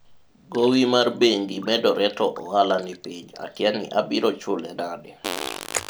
gowi mar bengi medore to ohala nipiny akia ni abiro chule nade